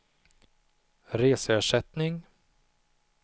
reseersättning